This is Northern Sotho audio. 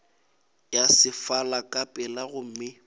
ya sefala ka pela gomme